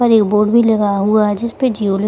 पर एक बोर्ड भी लगा हुआ है जिसपे जिओ लि --